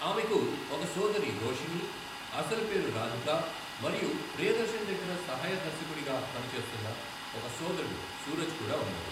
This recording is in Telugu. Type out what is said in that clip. ఆమెకు ఒక సోదరి రోషిణి, అసలు పేరు రాధికా మరియు ప్రియదర్శన్ దగ్గర సహాయ దర్శకుడుగా పని చేస్తున్న ఒక సోదరుడు సూరజ్ కూడా ఉన్నారు.